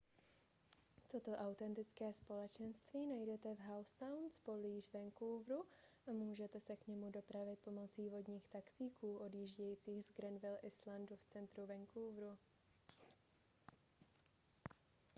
toto autentické společenství najdete v howe sound poblíž vancouveru a můžete se k němu dopravit pomocí vodních taxíků odjíždějících z granville islandu v centru vancouveru